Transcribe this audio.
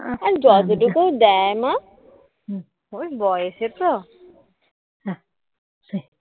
আর যতটুকু দেয় মা ওই বয়সে তো